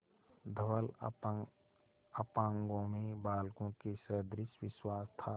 धवल अपांगों में बालकों के सदृश विश्वास था